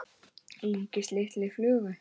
líkist lítilli flugu.